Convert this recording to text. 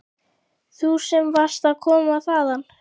Þú sem varst að koma þaðan.